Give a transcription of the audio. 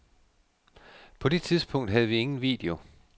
På det tidspunkt havde vi ingen video.